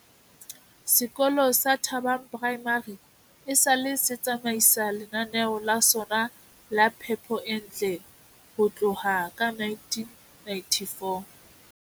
Sekolo sa Thabang Primary esale se tsamaisa lenaneo la sona la phepo e ntle ho tloha ka 1994.